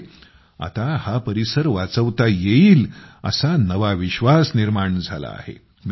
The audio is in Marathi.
त्यामुळे आता हा परिसर वाचवता येईल असा नवा विश्वास निर्माण झाला आहे